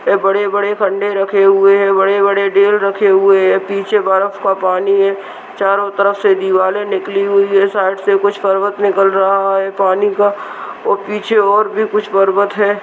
बड़े - बड़े रखे हुए हैं बड़े बड़े ढेल रखे हुए हैं पीछे बर्फ का पानी है चारों तरफ से दीवालें निकली हुई हैं साइड से कुछ पर्वत निकल रहा है पानी का और पीछे और भी कुछ पर्वत हैं।